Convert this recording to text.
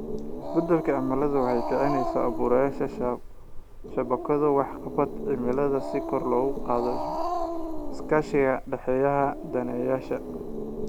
Isbeddelka cimiladu waxay kicinaysaa abuurista shabakado waxqabad cimileed si kor loogu qaado iskaashiga ka dhexeeya daneeyayaasha.